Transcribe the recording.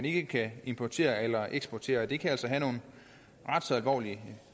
ikke kan importere eller eksportere det kan altså have nogle ret så alvorlige